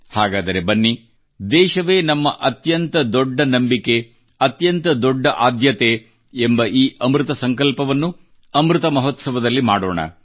ಹಾಗಾದರೆ ಬನ್ನಿ ದೇಶವೇ ನಮ್ಮ ಅತ್ಯಂತ ದೊಡ್ಡ ನಂಬಿಕೆ ಅತ್ಯಂತ ದೊಡ್ಡ ಆದ್ಯತೆ ಎಂಬ ಈ ಅಮೃತ ಸಂಕಲ್ಪವನ್ನುಅಮೃತ ಮಹೋತ್ಸವದಲ್ಲಿ ಮಾಡೋಣ